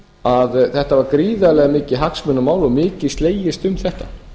að þetta var gríðarlega mikið hagsmunamál og mikið slegist um þetta